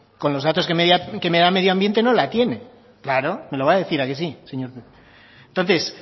con los datos que me da medio ambiente no la tiene claro me lo va a decir a que sí entonces